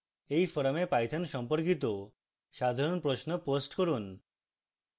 এই forum python সম্পর্কিত সাধারণ প্রশ্ন post করুন